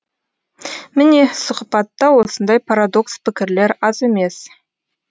міне сұхбатта осындай парадокс пікірлер аз емес